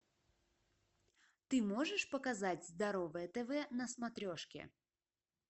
ты можешь показать здоровое тв на смотрешке